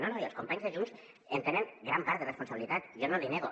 no no i els companys de junts en tenen gran part de responsabilitat jo no l’hi nego